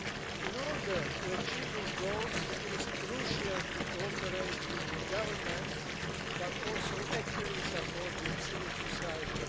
In order to achieve these goals, it is crucial to cooperate with governments, but also to actively support civil society.